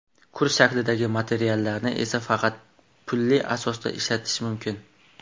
Kurs shaklidagi materiallarni esa faqat pulli asosda ishlatish mumkin.